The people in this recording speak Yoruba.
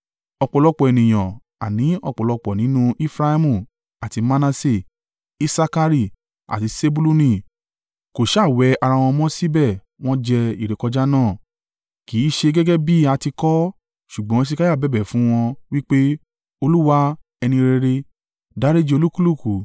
Ọ̀pọ̀lọpọ̀ ènìyàn, àní ọ̀pọ̀lọpọ̀ nínú Efraimu àti Manase, Isakari, àti Sebuluni kò sá wẹ̀ ara wọn mọ́ síbẹ̀ wọ́n jẹ ìrékọjá náà, kì í ṣe gẹ́gẹ́ bí a ti kọ ọ́. Ṣùgbọ́n Hesekiah bẹ̀bẹ̀ fún wọn, wí pé, Olúwa, ẹni rere, dáríjì olúkúlùkù,